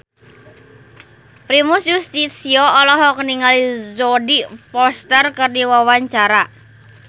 Primus Yustisio olohok ningali Jodie Foster keur diwawancara